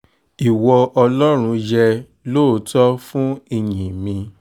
ìwọ ọlọ́run yẹ lóòótọ́ fún ìyìn mi